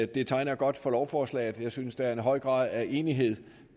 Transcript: det tegner godt for lovforslaget jeg synes der er en høj grad af enighed